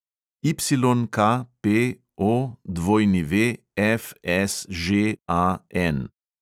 YKPOWFSŽAN